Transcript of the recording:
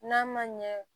N'a ma ɲɛ